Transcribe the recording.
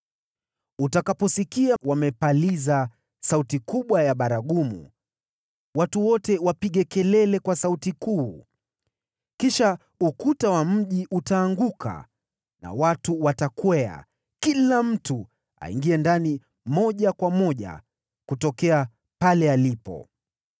Utakapowasikia wamepaliza sauti kubwa ya baragumu, watu wote wapige kelele kwa sauti kuu, kisha ukuta wa mji utaanguka na watu watapanda, kila mtu akiendelea mbele.”